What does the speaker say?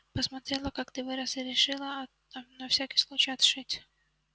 посмотрела как ты вырос и решила на всякий случай отшить